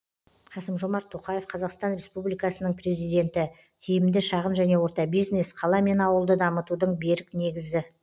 қасым жомарт тоқаев қазақстан республикасының президенті тиімді шағын және орта бизнес қала мен ауылды дамытудың берік негізі